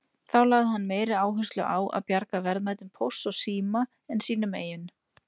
Þá lagði hann meiri áherslu á að bjarga verðmætum Pósts og síma en sínum eigin.